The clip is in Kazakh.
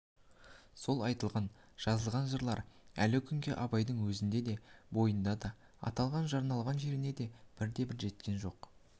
сол айтылған жазылған жырлар әлі күнге абайдың өзінде өз бойында аталған арналған жеріне бірде-бірі жеткен жоқ